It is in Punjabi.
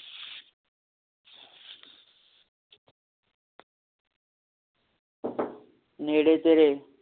ਨੇੜੇ ਤੇਰੇ